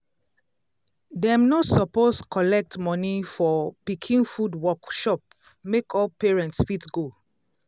dem no suppose collect money for pikin food workshop make all parents fit go.